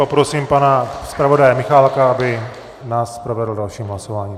Poprosím pana zpravodaje Michálka, aby nás provedl dalším hlasováním.